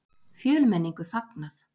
Fjölmenningu fagnað